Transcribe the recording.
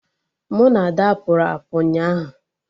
Mụ na Ada pụrụ apụ ụnyaahụ